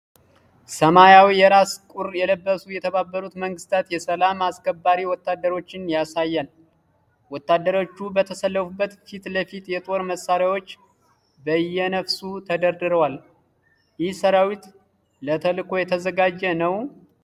ሰማያዊ የራስ ቁር የለበሱ የተባበሩት መንግስታት የሰላም አስከባሪ ወታደሮችን ያሳያል። ወታደሮቹ በተሰለፉበት ፊት ለፊት የጦር መሳሪያዎች በየነፍሱ ተደርድረዋል። ይህ ሰራዊት ለተልዕኮ እየተዘጋጀ ነው?